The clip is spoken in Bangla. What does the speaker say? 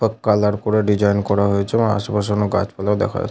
সব কালার করে ডিজাইন করা হয়েছে এবং আশেপাশে অনেক গাছপালাও দেখা যা--